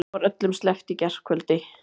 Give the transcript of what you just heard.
Þeim var öllum sleppt í gærkvöldi